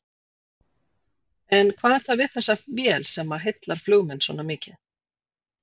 En hvað er það við þessa vél sem heillar flugmenn svona mikið?